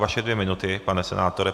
Vaše dvě minuty, pane senátore.